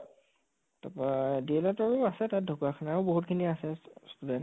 তাপা DL Ed ৰো আছে তাত ঢকোৱাখানাও বহুত খিনি আছে student